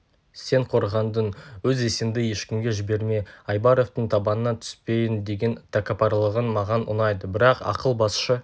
сен қорғандың өз есеңді ешкімге жіберме айбаровтың табанына түспейін деген тәкаппарлығың маған ұнайды бірақ ақыл басшы